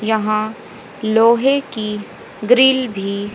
यहां लोहे की ग्रिल भी--